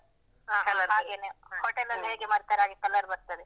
ಹಾಗೇನೇ hotel ಅಲ್ಲಿ ಹೇಗೆ ಮಾಡ್ತಾರೆ ಹಾಗೆ colour ಬರ್ತದೇ.